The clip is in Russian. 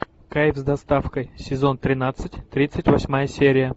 кайф с доставкой сезон тринадцать тридцать восьмая серия